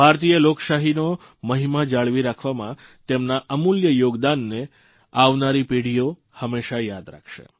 ભારતીય લોકશાહીનો મહિમા જાળવી રાખવામાં તેમના અમૂલ્ય યોગદાનને આવનારી પેઢીઓ હંમેશા યાદ રાખશે